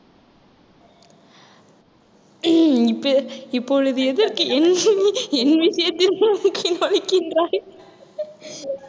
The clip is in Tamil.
இப்ப~ இப்பொழுது எதற்கு என் என் விஷயத்தில் மூக்கை நுழைக்கின்றாய்